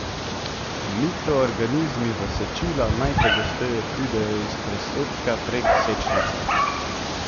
Mikroorganizmi v sečila najpogosteje pridejo iz presredka prek sečnice.